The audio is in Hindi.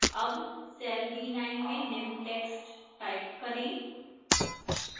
अब cell b9 में निम्न text type करें